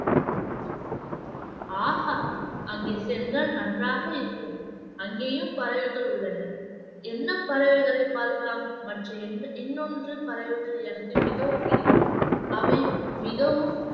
ஆஹா அங்கே சென்றால் நன்றாக இருக்கும் அங்கேயும் பறவைகள் உள்ளன என்ன பறவைகளை பார்க்கலாம் மற்றும் இன்~ இன்னொன்று பறவைகள் எனக்கு மிகவும் பிடிக்கும் அவை மிகவும்